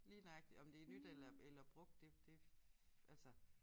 Lige nøjagtig om det nyt eller eller brugt det det altså